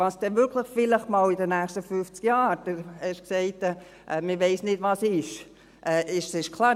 Was dann vielleicht wirklich einmal in den nächsten 50 Jahren sein wird – Sie haben gesagt, man wisse nicht, was sein werde – diesbezüglich ist klar: